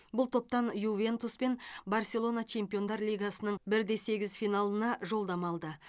бұл топтан ювентус пен барселона чемпиондар лигасының бір де сегіз финалына жолдама алды